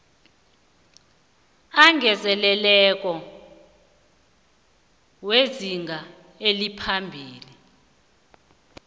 angezelelweko wezinga eliphasi